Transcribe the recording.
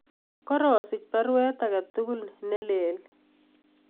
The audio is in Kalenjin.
Karasich baruet age tugul nelelach